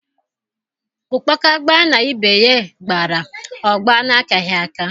Ụkpaka gbaa na ibe ya gbara, ọ gbaa n’akaghị aka.